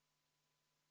Austatud Riigikogu!